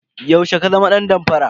Yaushe ka zama dan damfara?